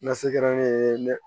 Nasi kɛra ne ye ne